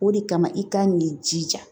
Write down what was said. O de kama i kan k'i jija